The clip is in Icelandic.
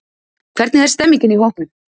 Hvernig er stemmningin í hópnum?